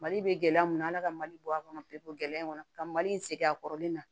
Mali bɛ gɛlɛya mun na ala ka mali bɔ a kɔnɔ pepegɛ in kɔnɔ ka mali in segin a kɔrɔlen na